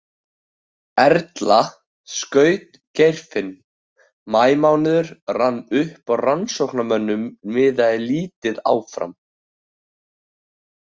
Erla skaut Geirfinn Maímánuður rann upp og rannsóknarmönnum miðaði lítið áfram.